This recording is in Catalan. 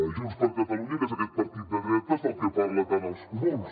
junts per catalunya que és aquest partit de dretes del que parlen tant els comuns